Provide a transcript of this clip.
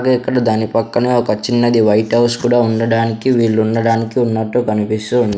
అదే ఇక్కడ దాని పక్కనే ఒక చిన్నది వైట్ హౌస్ కూడా ఉండడానికి వీళ్ళు ఉండడానికి ఉన్నట్టు కనిపిస్తూ ఉం--